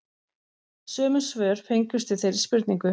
Sömu svör fengust við þeirri spurningu